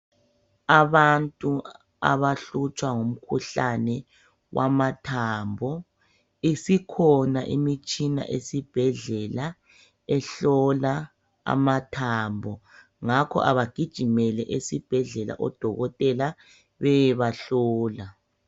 Abantu abahlutshwa ngumkhuhlane wamathambo. Isikhona imitshina esibhedlela ehlola amathambo. Ngakho abagijimele esibhedlela, odokotela beyebahlola.